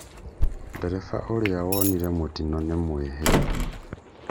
Nderefa ũrĩa wonire mũtino nĩ mũĩhire